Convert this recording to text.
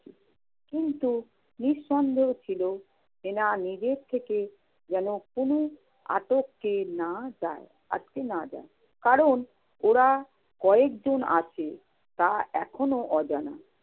কিন্তু নিঃসন্দেহ ছিল যে, না নিজে থেকে যেন কোন আটকে না যায়. আটকে না যায়। কারণ ওরা কয়জন আছে তা এখনো অজানা।